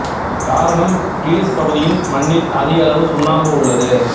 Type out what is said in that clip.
காரணம் கிலிஸ் பகுதியின் மண்ணில் அதிக அளவு சுண்ணாம்பு உள்ளது